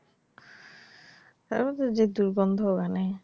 তার মধ্যে যে দুর্গন্ধ মানে,